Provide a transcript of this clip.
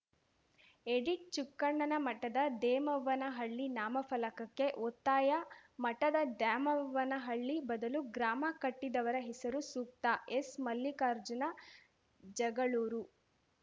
edit ಚುಕ್ಕಣ್ಣನ ಮಠದ ದೇಮವ್ವನಹಳ್ಳಿ ನಾಮ ಫಲಕಕ್ಕೆ ಒತ್ತಾಯ ಮಠದ ದ್ಯಾಮವ್ವನಹಳ್ಳಿ ಬದಲು ಗ್ರಾಮ ಕಟ್ಟಿದವರ ಹೆಸರು ಸೂಕ್ತ ಎಸ್‌ ಮಲ್ಲಿಕಾರ್ಜುನ ಜಗಳೂರು